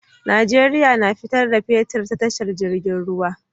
Nigeria na fita da fetir ta tasha jirgin ruwa